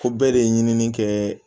Ko bɛɛ de ye ɲinini kɛ